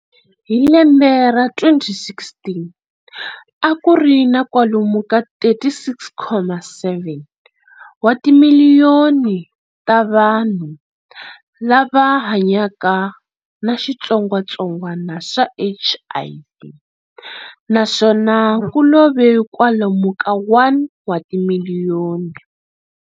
Hi lembe ra 2016 akuri na kwalomu ka 36.7 wa timiliyoni ta vanhu lava hanyaka na xitsongwatsongwana xa HIV naswona kulove kwalomu ka 1 wa timiliyoni.